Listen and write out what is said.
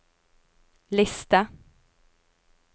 liste